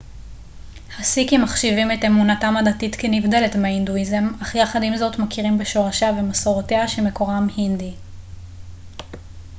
הסיקים מחשיבים את אמונתם הדתית כנבדלת מההינדואיזם אך יחד עם זאת מכירים בשורשיה ומסורותיה שמקורם הינדי